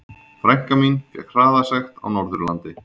Frænka mín fékk hraðasekt á Norðurlandi.